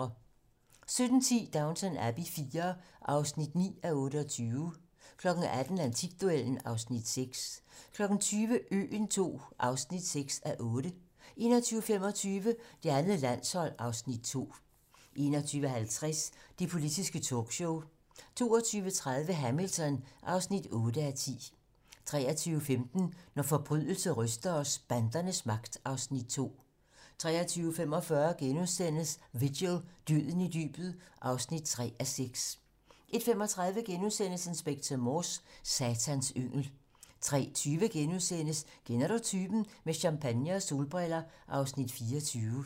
17:10: Downton Abbey IV (9:28) 18:00: Antikduellen (Afs. 6) 20:00: Øen II (6:8) 21:25: Det andet landshold (Afs. 2) 21:50: Det politiske talkshow 22:30: Hamilton (8:10) 23:15: Når forbrydelse ryster os: Bandernes magt (Afs. 2) 23:45: Vigil - Døden i dybet (3:6)* 01:35: Inspector Morse: Satans yngel * 03:20: Kender du typen? - Med champagne og solbriller (Afs. 24)*